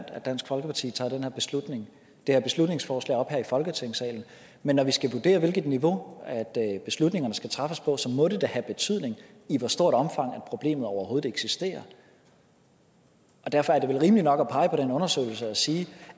at dansk folkeparti tager det her beslutningsforslag op i folketingssalen men når vi skal vurdere hvilket niveau beslutningerne skal træffes på så må det da have betydning i hvor stort omfang problemet overhovedet eksisterer derfor er det vel rimeligt nok at pege på den undersøgelse og sige